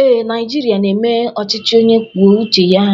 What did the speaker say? ee, Naijiria na-eme ọchịchị onye kwuo uche ya